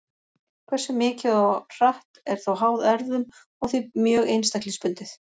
Hversu mikið og hratt er þó háð erfðum og því mjög einstaklingsbundið.